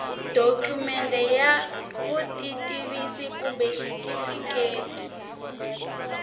dokumende ya vutitivisi kumbe xitifiketi